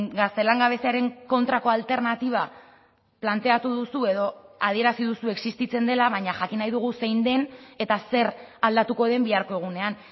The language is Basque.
gazte langabeziaren kontrako alternatiba planteatu duzu edo adierazi duzu existitzen dela baina jakin nahi dugu zein den eta zer aldatuko den biharko egunean